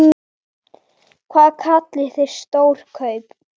Hvað kallið þið stór kaup?